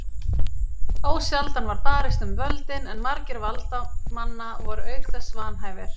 Ósjaldan var barist um völdin en margir valdamanna voru auk þess vanhæfir.